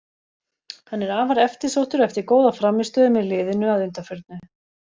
Hann er afar eftirsóttur eftir góða frammistöðu með liðinu að undanförnu.